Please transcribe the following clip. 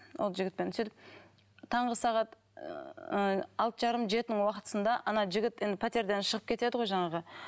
ол жігітпен сөйтіп таңғы сағат ыыы алты жарым жетінің уақытысында ана жігіт енді пәтерден шығып кетеді ғой жаңағы